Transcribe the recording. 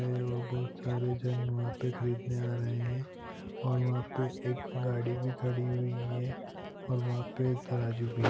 और बहुत सारे जन वहाँ पे ख़रीदने आ रहे है ओर वहाँ पे एक गाड़ी भी खड़ी हुयी है ओर वहाँ पे तराजू भी है ।